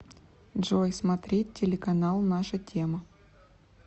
джой смотреть телеканал наша тема